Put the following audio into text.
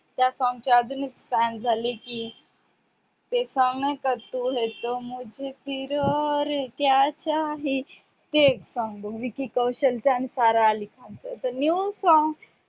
त्या song चीअजून एक fan झाली ते song नाही का? तू है तो और मुझे क्या चाहिये ते एक song विकी कौशल आणि सारा आली खान चे